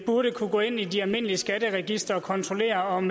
burde kunne gå ind i de almindelige skatteregistre og kontrollere om